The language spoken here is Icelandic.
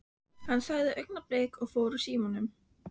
Hann sagði augnablik og fór úr símanum.